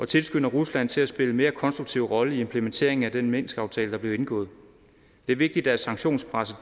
tilskynder rusland til at spille en mere konstruktiv rolle i implementeringen af den minskaftale der blev indgået det er vigtigt at sanktionspresset